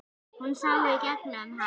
Hún sá í gegnum hann.